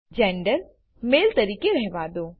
gender male તરીકે રહેવા દો